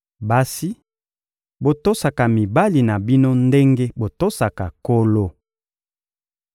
Basi, botosaka mibali na bino ndenge botosaka Nkolo.